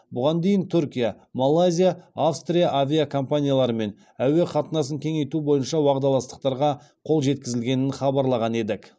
бұған дейін түркия малайзия австрия авиакомпанияларымен әуе қатынасын кеңейту бойынша уағдаластықтарға қол жеткізілгенін хабарлаған едік